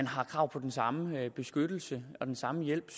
har krav på den samme beskyttelse og den samme hjælp